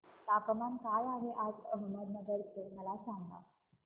तापमान काय आहे आज अहमदनगर चे मला सांगा